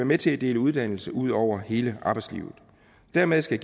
med til at dele uddannelse ud over hele arbejdslivet dermed skal